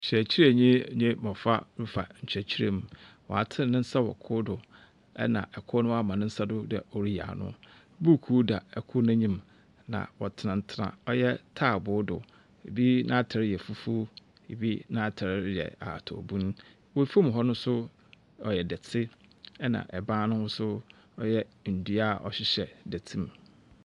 Ↄkyerɛkyerɛni ne mmɔfra refa nkyerɛkyerɛ mu. Watene ne nsa wɔ kor do ɛna ɔkor wama ne nsa do dɛ ɔreyi ano. Buuku da ɛkor n’enyim na ɔtenatena taabo do. Ebi n’ataare yɛ fufuo ebi n’ataare yɛ ahata obunu. Wɔ fam hɔ no nso ɔyɛ dɔte ɛna ɛban no ho nso ɔyɛ nnua a ɔhyehyɛ dɔte mu.